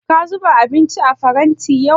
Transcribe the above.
Ka zuba abinci a faranti yau?